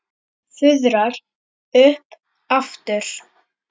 Fuðrar upp aftur.